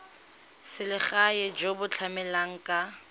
selegae jo bo tlamelang ka